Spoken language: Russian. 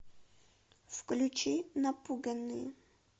включи напуганные